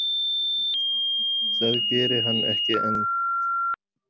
Það geri hann ekki enn.